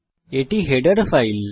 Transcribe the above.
এটি আমাদের header file